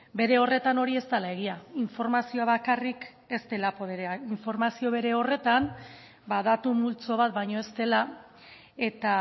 bere horretan hori ez dela egia informazioa bakarrik ez dela boterea informazioa bere horretan ba datu multzo bat baino ez dela eta